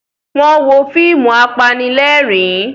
Wọ́n wo fíìmù apanílẹ̀rín.